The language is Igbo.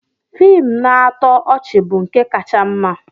Fiim na-atọ ọchị bụ nke kacha mma.